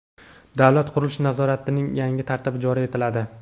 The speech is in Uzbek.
Davlat qurilish nazoratining yangi tartibi joriy etiladi.